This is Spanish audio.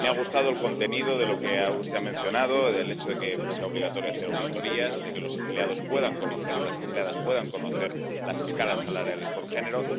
Me ha gustado el contenido de lo que usted ha mencionado el hecho de que sea obligatorio hacer auditorías, de que los empleados puedan conocer y las empleadas puedan conocer las escalas salariales por género.